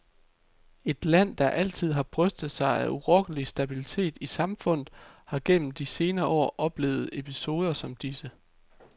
Et land, der altid har brystet sig af urokkelig stabilitet i samfundet, har gennem de senere år oplevet episoder som disse.